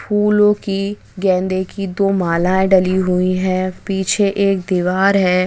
फूलों की गेंदे की दो मालाएँ डली हुई है पीछे एक दीवार है।